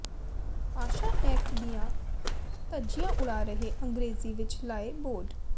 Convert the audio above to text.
ਭਾਸ਼ਾ ਐਕਟ ਦੀਆਂ ਧੱਜੀਆਂ ਉਡਾ ਰਹੇ ਅੰਗਰੇਜ਼ੀ ਵਿੱਚ ਲਾਏ ਬੋਰਡ